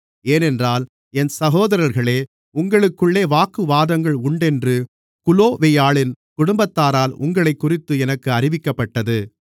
ஏனென்றால் என் சகோதரர்களே உங்களுக்குள்ளே வாக்குவாதங்கள் உண்டென்று குலோவேயாளின் குடும்பத்தாரால் உங்களைக்குறித்து எனக்கு அறிவிக்கப்பட்டது